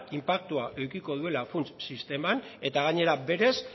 inpaktua edukiko duela funts sisteman eta gainera berez